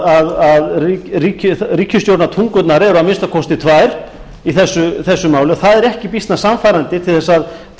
að ríkisstjórnartungurnar eru að minnsta kosti tvær í þessu máli það er ekki býsna sannfærandi til þess að vinna traust allra þeirra aðila sem þurfa